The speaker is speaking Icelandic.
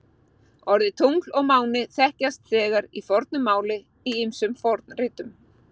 Orðin tungl og máni þekkjast þegar í fornu máli í ýmsum fornritum.